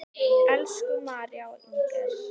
Elsku María og Inger.